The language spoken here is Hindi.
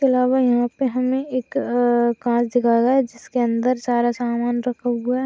अलावा यहां पे हमे एक अ एम कांच दिखाया गया है जिसके अंदर सारा सामान रखा हुआ है।